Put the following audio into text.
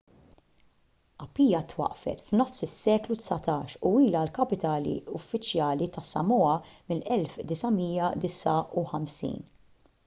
apia twaqqfet f'nofs is-seklu dsatax u ilha l-kapitali uffiċjali tas-samoa mill-1959